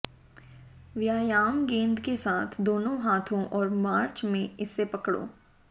व्यायाम गेंद के साथ दोनों हाथों और मार्च में इसे पकड़ो